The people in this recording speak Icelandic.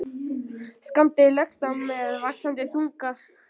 Skammdegið leggst á með vaxandi þunga.